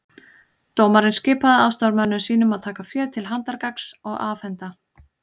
Dómarinn skipaði aðstoðarmönnum sínum að taka féð til handargagns og afhenda